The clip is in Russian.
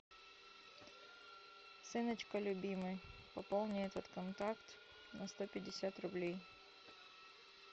сыночка любимый пополни этот контакт на сто пятьдесят рублей